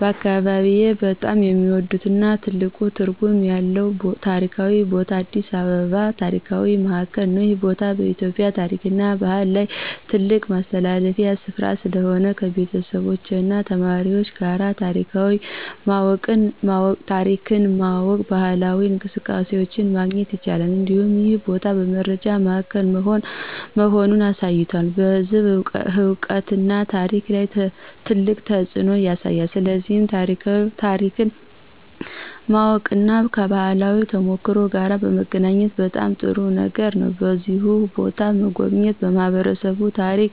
በአካባቢዬ በጣም የሚወዱትና ትልቅ ትርጉም ያለው ታሪካዊ ቦታ አዲስ አበባ የታሪክ ማዕከል ነው። ይህ ቦታ በኢትዮጵያ ታሪክና ባህል ላይ ትልቅ ማስተላለፊያ ስፍራ ስለሆነ፣ ከቤተሰቦች እና ተማሪዎች ጋር ታሪክን ማወቅና ባህላዊ እንቅስቃሴዎችን ማግኘት ይቻላል። እንዲሁም ይህ ቦታ በመረጃ ማዕከል መሆኑን አሳይቷል፣ በሕዝብ እውቀትና ታሪክ ላይ ትልቅ ተፅዕኖ ያሳያል። ስለዚህ ታሪክን ማወቅና ከባህላዊ ተሞክሮ ጋር መገናኘት በጣም ጥሩ ነገር ነው። በዚሁ ቦታ መጎብኘት ለማህበረሰብ ታሪክ